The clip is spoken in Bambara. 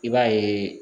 I b'a yeee